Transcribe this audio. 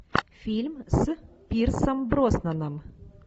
фильм с пирсом броснаном